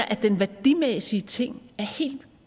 at den værdimæssige ting er helt